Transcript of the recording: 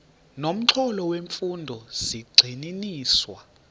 nomxholo wemfundo zigxininiswa